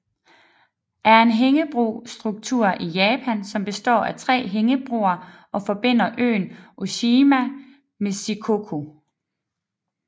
er en hængebro struktur i Japan som består af tre hængebroer og forbinder øen Oshima med Shikoku